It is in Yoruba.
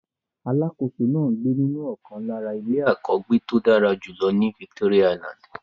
Alákòóso náà ń gbé nínú ọ̀kan lára ilé àkọ́gbéto dára jùlọ ní Victoria island.